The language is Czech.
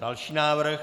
Další návrh.